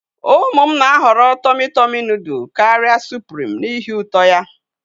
Ụmụ m na-ahọrọ tomị tọmi nụdụl karịa sụprim n'ihi uto ya.